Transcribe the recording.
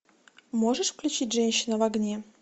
можешь включить женщина в огне